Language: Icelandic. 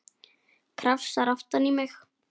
Krafsar aftan í mig.